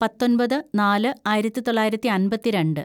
പത്തൊമ്പത് നാല് ആയിരത്തിതൊള്ളായിരത്തി അമ്പത്തിരണ്ട്‌